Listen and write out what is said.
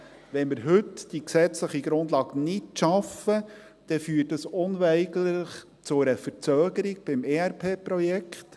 Wenn wir heute die gesetzliche Grundlage nicht schaffen, dann führt dies unweigerlich zu einer Verzögerung des ERP-Projekts.